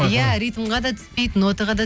иә ритмға да түспейді нотаға да